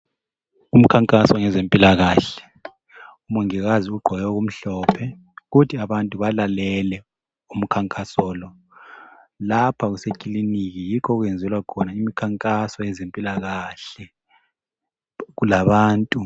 Umkhankaso ngezempilakahle. Umongikazi ugqoke okumhlophe. Kuthi abantu balalele, umkhankaso lo. Lapha kusekilinika, yikho okwenzelwa khona imikhankaso yezempilakahle. Kulabantu.